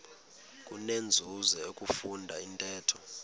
kunenzuzo ukufunda intetho